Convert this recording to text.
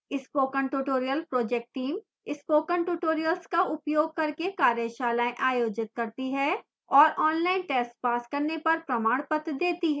spoken tutorial project team spoken tutorials का उपयोग करके कार्यशालाएँ आयोजित करती है और ऑनलाइन टेस्ट पास करने पर प्रमाणपत्र देती है